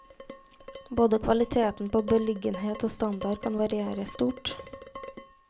Både kvaliteten på beliggenhet og standard kan variere stort.